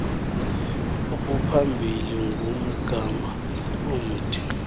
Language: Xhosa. obuphambili ngumgama omde